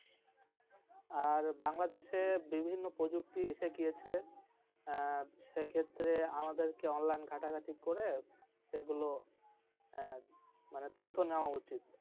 আর বাংলাদেশের বিভিন্ন প্রযুক্তি এসে গিয়েছে আহ সেই ক্ষেত্রে আমাদেরকে online খাটাঘাঁটি করে সেগুলো আহ মানে তথ্য নেওয়া উচিত।